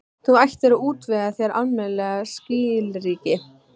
Þú ættir að útvega þér almennileg skilríki.